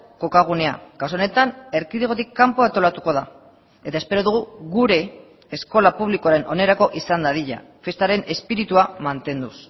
kokagunea kasu honetan erkidegotik kanpo antolatuko da eta espero dugu gure eskola publikoaren onerako izan dadila festaren espiritua mantenduz